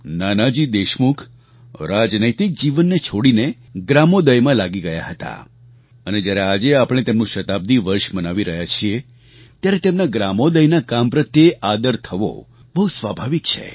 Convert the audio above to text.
નાનાજી દેશમુખ રાજનૈતિક જીવનને છોડીને ગ્રામોદયમાં લાગી ગયા હતા અને જ્યારે આજે આપણે તેમનું શતાબ્દી વર્ષ મનાવી રહ્યા છીએ ત્યારે તેમના ગ્રામોદયના કામ પ્રત્યે આદર થવો બહુ સ્વાભાવિક છે